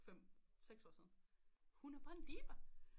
fem seks år siden hun er bare en diva